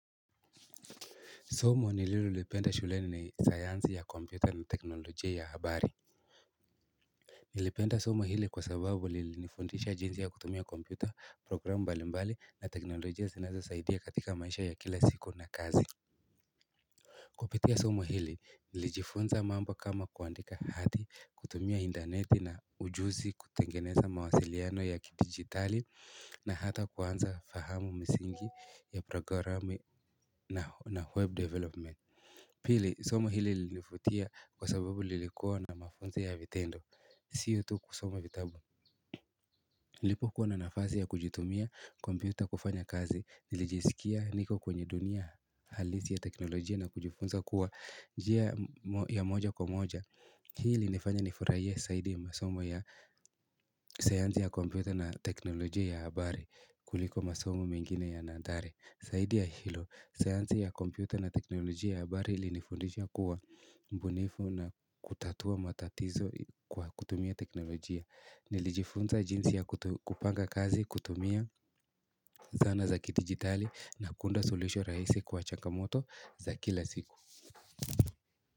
Somo nililolipenda shule ni sayansi ya kompyuta na teknolojia ya habari Nilipenda somo hili kwa sababu lilinifundisha jinsi ya kutumia kompyuta programu mbali mbali na teknolojia zinazo saidia katika maisha ya kila siku na kazi Kupitia somo hili nilijifunza mambo kama kuandika hati kutumia intaneti na ujuzi kutengeneza mawasiliano ya kidigitali na hata kuanza fahamu misingi ya programu na web development Pili somo hili lilinivutia kwa sababu lilikua na mafunzo ya vitendo siyo tu kusoma vitabu nilipo kuwa na nafasi ya kuitumia kompyuta kufanya kazi Nilijisikia niko kwenye dunia halisi ya teknolojia na kujifunza kuwa njia ya moja kwa moja Hii ilinifanya nifurahie zaidi masomo ya sayansi ya kompyuta na teknolojia ya habari kuliko masomo mengine ya nathari zaidi ya hilo sayansi ya kompyuta na teknolojia ya habari ilinifundisha kuwa mbunifu na kutatua matatizo kwa kutumia teknolojia nilijifunza jinsi ya kupanga kazi kutumia zana za kidijitali na kuunda suluhisho rahisi la changamoto za kila siku.